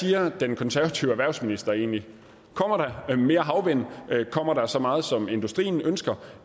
siger den konservative erhvervsminister egentlig kommer der mere havvind kommer der så meget som industrien ønsker